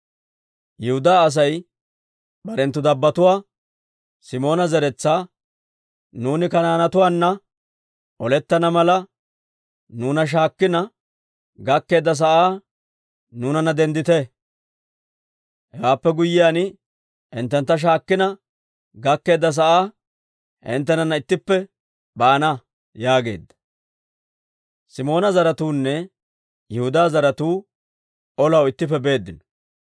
Yihudaa Asay barenttu dabbotuwaa, Simoona zeretsaa, «Nuuni Kanaanetuwaana olettana mala, nuuna shaakkina gakkeedda sa'aa nuunanna denddite. Hewaappe guyyiyaan, hinttentta shaakkina gakkeedda sa'aa hinttenana ittippe baana» yaageedda. Simoona zaratuunne Yihudaa zaratuu olaw ittippe beeddino.